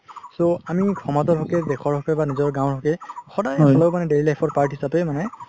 so আমি সমাজৰ হকে দেশৰ হকে বা নিজৰ গাওঁৰ হকে সদায় daily life part হিচাপে মানে